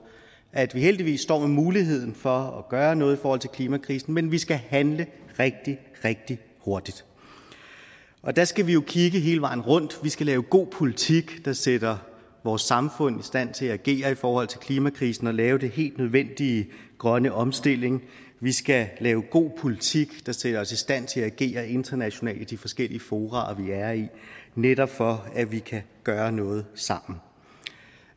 at vi heldigvis står med muligheden for at gøre noget i forhold til klimakrisen men vi skal handle rigtig rigtig hurtigt der skal vi jo kigge hele vejen rundt vi skal lave god politik der sætter vores samfund i stand til at agere i forhold til klimakrisen og lave den helt nødvendige grønne omstilling vi skal lave god politik der sætter os i stand til at agere internationalt i de forskellige fora vi er i netop for at vi kan gøre noget sammen